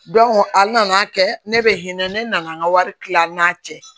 a nana kɛ ne bɛ hinɛ ne nana an ka wari tila n'a cɛ